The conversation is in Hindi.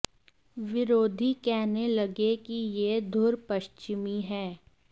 विरोधी कहने लगे कि यह धुर पश्चिमी है